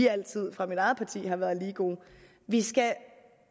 altid har været lige gode vi skal